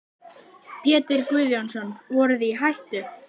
Pétur Guðjónsson: Voruð þið í hættu?